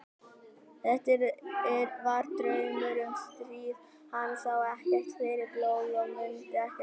Þetta var draumur um stríð og hann sá ekkert fyrir blóði og mundi ekkert annað.